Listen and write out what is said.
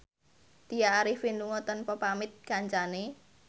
Tya Arifin lunga tanpa pamit kancane